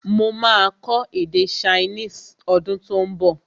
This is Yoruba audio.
Mo máa kọ́ èdè chinese ọdún tó ún bọ̀